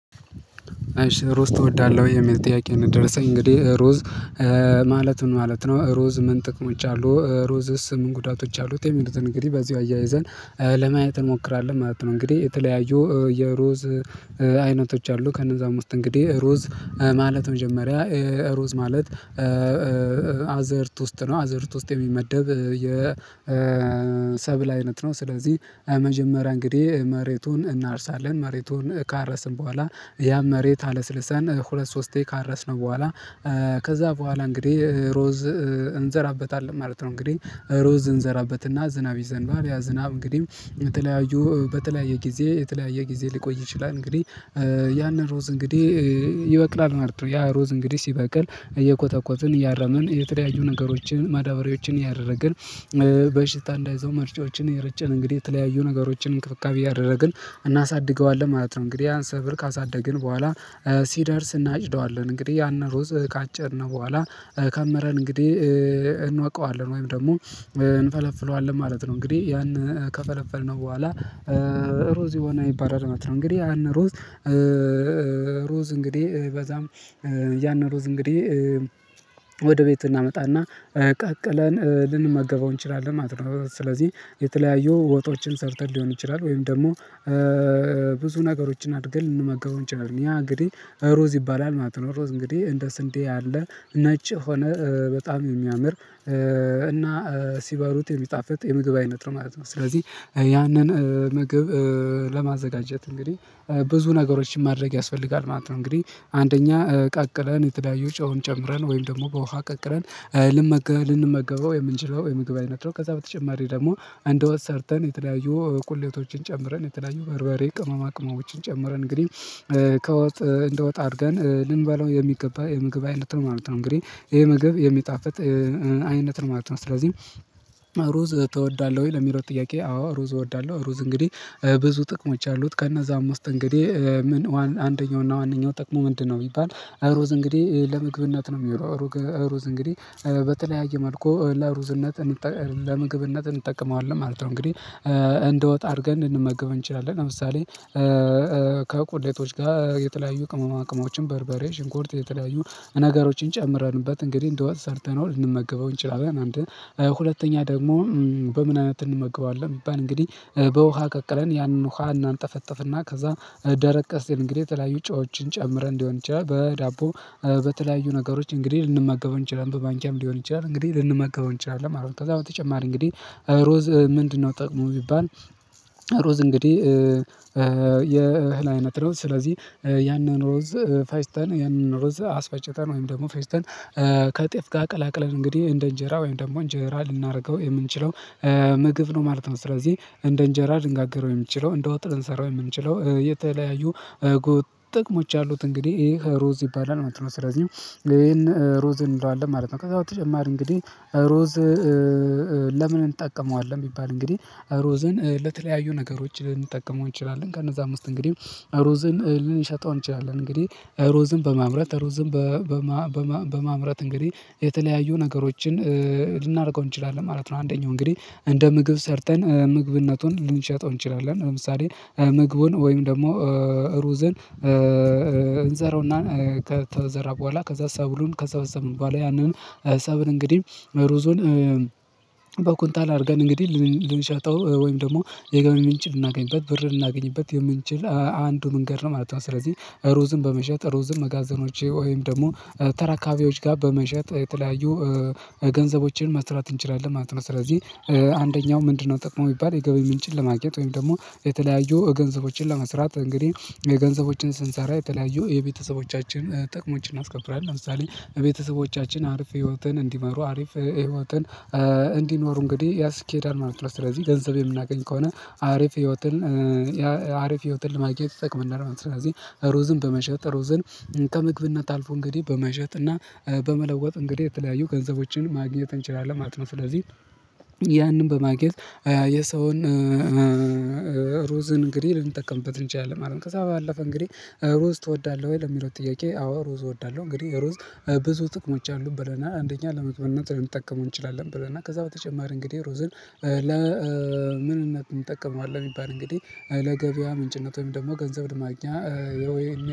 ሩዝ ትወዳለህ ወይ የሚል ጥያቄ ነው የደረሰኝ እንግዲህ ሩዝ ማለት ምን ማለት ነው ሩዝ ምን ጥቅሞች አሉት ሩዝስ ምን ጉዳቶች አሉት የሚሉትን እንግዲህ በዚሁ አያይዘን ለማየት እንሞክራለን ማለት ነው። እንግዲህ የተለያዩ የሩዝ አይነቶች አሉ ከእነዛም ውስጥ እንግዲህ ሩዝ ማለት መጀመሪያ ሩዝ ማለት አዝእርት ውስጥ ነው አዝእርት ውስጥ የሚመደብ የሰብል አይነት ነው ስለዚህ የመጀመሪያ እንግዴ መሬቱን እናርሳለን መሬቱን ካረስን በኋላ ያን መሬት አለስልሰን ሁለት ሶስቴ ካረስነው በኋላ ከዛ በኋላ እንግዴ ሩዝ እንዘራበታለን ማለት ነው። እንግዲህ ሩዝ እንዘራበትና ዝናብ ይዘንባል ያ ዝናብ እንግዲህ በተለያዩ በተለያየ ጊዜ የተለያየ ጊዜ ሊቆይ ይችላል እንግዲህ ያን ሩዝ እንግዴህ ይበቅላል ማለት ነው ያ ሩዝ እንግዴ ሲበቅል እየኮተኮትን እያረምን የተለያዩ ነገሮችን ማዳበሪያዎችን ያደረግን በሽታ እንዳይዘው መርጫዎችን የረጨን እንግዲህ የተለያዩ ነገሮችን እንክብካቤ እያደረግን እናሳድገዋለን ማለት ነው። እንግዴህ ያን ሰብል ካሳደግን በኋላ ሲደርስ እናጭደዋለን እንግዲህ ያንን ሩዝ ካጨድ ነው በኋላ ከምረን እንግዲህ እንወቃዋለን ወይም ደግሞ እንፈለፍለዋለን ማለት ነው እንግዲህ ያን ከፈለፈልነው በኋላ ሩዝ የሆነ ይባላል ማለት ነው። እንግዲህ ያን ሩዝ ሩዝ እንግዲህ በዛም ያን ሩዝ እንግዲህ ወደ ቤት እናመጣና ቀቅለን ልንመገበው እንችላለን ማለት ነው። ስለዚህ የተለያዩ ወጦችን ሰርተን ሊሆን ይችላል ወይም ደግሞ ብዙ ነገሮችን አድርገን ልንመገበው እንችላለን ያ እንግዲህ ሩዝ ይባላል ማለት ነው። ሩዝ እንግዲህ እንደ ስንዴ ያለ ነጭ የሆነ በጣም የሚያምር እና ሲበሉት የሚጣፍጥ የምግብ አይነት ነው ማለት ነው ስለዚህ ያንን ምግብ ለማዘጋጀት እንግዲህ ብዙ ነገሮችን ማድረግ ያስፈልጋል ማለት ነው። እንግዲህ አንደኛ ቀቅለን የተለያዩ ጨውም ጨምረን ወይም ደግሞ በውሃ ቀቅለን ልንመገበው የምንችለው የምግብ አይነት ነው ከዛ በተጨማሪ ደግሞ እንደወጥ ሰርተን የተለያዩ ቁሌቶችን ጨምረን የተለያዩ በርበሬ ቅመማ ቅመሞችን ጨምረን እንግዲህ ከወጥ እንደወጥ አድርገን ልንበለው የሚገባ የምግብ አይነት ነው ማለት ነው። እንግዲህ ይሄ ምግብ የሚጣፍጥ አይነት ነው ማለት ነው። ስለዚህ ሩዝ ትወዳለህ ወይ ለሚለው ጥያቄ አዎ ሩዝ እወዳለሁ። ሩዝ እንግዲህ ብዙ ጥቅሞች አሉት ከነዛ ውስጥ እንግዲህ ምን አንደኛውና ዋነኛው ጠቅሙ ምንድ ነው ቢባል ሩዝ እንግዲህ ለምግብነት ነው የሚለው ሩዝ እንግዲህ በተለያየ መልኩ ለሩዝነት ለምግብነት እንጠቀመዋለን ማለት ነው። እንግዲህ እንደወጥ አድርገን ልንመገበው እንችላለን ለምሳሌ ከቁሌቶች ጋር የተለያዩ ቅመማቅመሞችን በርበሬ ሽንኩርት የተለያዩ ነገሮችን ጨምረንበት እንግዲህ እንደ ወጥ ሰርተነው ልንመገበው እንችላለን አንድ ሁለተኛ ደግሞ በምን አይነት እንመገበዋለን ቢባል እንግዲህ በውሃ ቀቅለን ያንን ውሃ እናንጠፈጥፍና ከዛ ደረቅ ሲል እንግዲህ የተለያዩ ጨዎችን ጨምረን ሊሆን ይችላል በዳቦ በተለያዩ ነገሮች እንግዲህ ልንመገበው እንችላለን በማንኪያም ሊሆን ይችላል እንግዲህ ልንመገበው እንችላለን ማለት ነው። ከዛ በተጨማሪ እንግዲህ ሩዝ ምንድ ነው ጥቅሙ ቢባል ሩዝ እንግዲህ የእህል አይነት ነው ስለዚህ ያንን ሩዝ ፈጭተን ያንን ሩዝ አስፈጭተን ወይም ደግሞ ፈጭተን ከጤፍ ጋር ቀላቅለን እንግዲህ እንደ እንጀራ ወይም ደግሞ እንጀራ ልናደርገው የምንችለው ምግብ ነው ማለት ነው። ስለዚህ እንደ እንጀራ ልንጋግረው የምንችለው እንደ ወጥ ልንሰራው የምንችለው የተለያዩ ጥቅሞች አሉት እንግዲህ ይህ ሩዝ ይባላል ማለት ነው። ስለዚህ ይሄን ሩዝ እንለዋለን ማለት ነው። ከዛ በተጨማሪ እንግዲህ ሩዝ ለምን እንጠቀመዋለን ቢባል እንግዲህ ሩዝን ለተለያዩ ነገሮች ልንጠቀመው እንችላለን ከነዛም ውስጥ እንግዲህ ሩዝን ልንሸጠው እንችላለን እንግዲህ ሩዝን በማምረት ሩዝን በማምረት እንግዲህ የተለያዩ ነገሮችን ልናደርገው እንችላለን ማለት ነው። አንደኛው እንግዲህ እንደ ምግብ ሰርተን ምግብነቱን ልንሸጠው እንችላለን ለምሳሌ ምግቡን ወይም ደግሞ ሩዝን እንዘራውና ከተዘራ በኋላ ከዛ ሰብሉን ከሰበሰብን በኋላ ያንን ሰብል እንግዲህ ሩዙን በኩንታል አድርገን እንግዲህ ልንሸጠው ወይም ደግሞ የገቢ ምንጭ ልናገኝበት ብር ልናገኝበት የምንችል አንዱ መንገድ ነው ማለት ነው። ስለዚህ ሩዝን በመሸጥ ሩዝን መጋዘኖቼ ወይም ደግሞ ተራካቢዎች ጋር በመሸጥ የተለያዩ ገንዘቦችን መስራት እንችላለን ማለት ነው። ስለዚህ አንደኛው ምንድነው ጥቅሙ ቢባል የገቢ ምንጭን ለማግኘት ወይም ደግሞ የተለያዩ ገንዘቦችን ለመስራት እንግዲህ ገንዘቦችን ስንሰራ የተለያዩ የቤተሰቦቻችን ጥቅሞችን አናስከብራለን ለምሳሌ ቤተሰቦቻችን አሪፍ ህይወትን እንዲመሩ አሪፍ ህይወትን እንዲኖሩ እንግዲህ ያስኬዳል ማለት ነው። ስለዚህ ገንዘብ የምናገኝ ከሆነ አሪፍ ህይወትን አሪፍ ህይወትን ለማግኘት ይጠቅመናል ማለት ነው። ስለዚህ ሩዝን በመሸጥ ሩዝን ከምግብነት አልፎ እንግዲህ በመሸጥ እና በመለወጥ እንግዲህ የተለያዩ ገንዘቦችን ማግኘት እንችላለን ማለት ነው። ስለዚህ ያንን በማግኘት የሰውን ሩዝን እንግዲህ ልንጠቀምበት እንችላለን ማለት ነው። ከዛ ባለፈ እንግዲህ ሩዝ ትወዳለህ ወይ ለሚለው ጥያቄ አዎ ሩዝ እወዳለሁ። እንግዲህ ሩዝ ብዙ ጥቅሞች አሉት ብለናል አንደኛ ለምግብነት ልንጠቀመው እንችላለን ብለናል ከዛ በተጨማሪ እንግዲህ ሩዝን ለምንነት እንጠቀመዋለን ቢባል እንግዲህ ለገበያ ምንጭነት ወይም ደግሞ ገንዘብ ለማግኛ